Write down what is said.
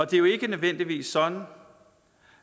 det er jo ikke nødvendigvis sådan